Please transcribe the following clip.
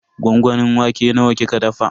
Gwangwamin wake nawa kika dafa?